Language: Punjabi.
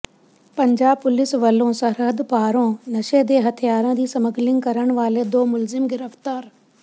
ਪੰਜਾਬ ਪੁਲਿਸ ਵੱਲੋਂ ਸਰਹੱਦ ਪਾਰੋਂ ਨਸ਼ੇ ਤੇ ਹਥਿਆਰਾਂ ਦੀ ਸਮਗਲਿੰਗ ਕਰਨ ਵਾਲੇ ਦੋ ਮੁਲਜ਼ਮ ਗ੍ਰਿਫਤਾਰ